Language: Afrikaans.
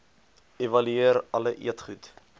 evalueer alle eetgoed